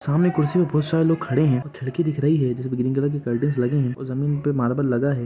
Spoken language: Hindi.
सामने कुर्सी और बहुत सारे लोग खड़े हैं खिड़की दिख रही हैं जिसमे ग्रीन कलर कर्टेन्स लगे हैं और जमीन पे मार्बल लगा हैं।